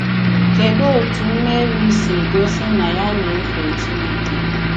Kedụ otú Meri sì gosi na ya na-èfè Chineke?